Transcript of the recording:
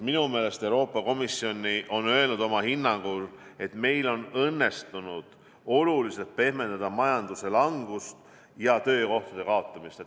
Minu meelest Euroopa Komisjon on öelnud oma hinnangu, et meil on õnnestunud oluliselt pehmendada majanduse langust ja töökohtade kaotamist.